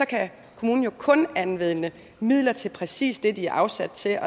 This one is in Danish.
kan kommunen jo kun anvende midler til præcis det de er afsat til